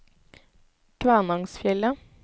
Kvænangsfjellet